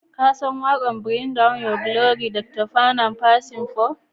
kasan waƙar Bring down your glory daga Dr panam percy paull?